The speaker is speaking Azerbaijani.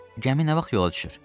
Gəmi nə vaxt yola düşür?